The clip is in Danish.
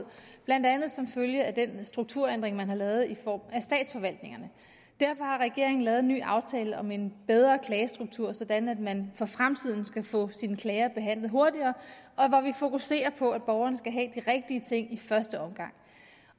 blandt andet som følge af den strukturændring man har lavet i form af statsforvaltningerne derfor har regeringen lavet en ny aftale om en bedre klagestruktur sådan at man for fremtiden skal få sine klager behandlet hurtigere og hvor vi fokuserer på at borgerne skal have de rigtige ting i første omgang